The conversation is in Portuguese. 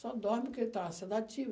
Só dorme porque ele está sedativo.